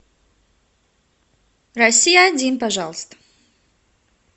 россия один пожалуйста